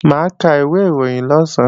Mà á ka ìwé ìròyìn lọ̀sán